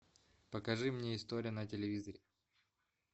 покажи мне история на телевизоре